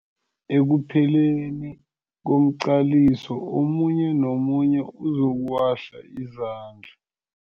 Ekupheleni komqaliso omunye nomunye uzokuwahla izandla.